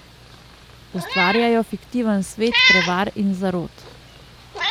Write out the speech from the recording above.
Ustvarjajo fiktiven svet prevar in zarot.